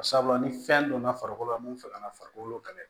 Sabula ni fɛn donna farikolo la mun fɛ ka na farikolo kɛlɛ